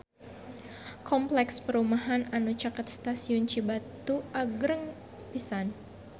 Kompleks perumahan anu caket Stasiun Cibatu agreng pisan